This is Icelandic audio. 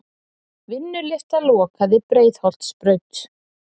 Vinnulyfta lokaði Breiðholtsbraut